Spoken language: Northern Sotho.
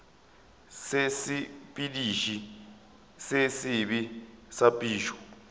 sesepediši se sebe sa phišo